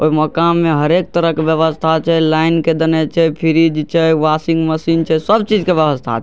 ओय मकान में हरेक तरह के व्यवस्था छै | लाइन के देना छै फ्रीज छै | वाशिंग मशीन छै | सब चीज के व्यवस्था छै ।